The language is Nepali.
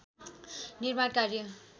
निर्माण कार्य